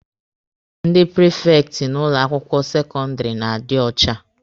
Ndị prifekti n'ụlọ akwụkwọ sekọndịrị na-adị ọcha.